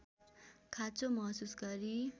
खाँचो महसुस गरी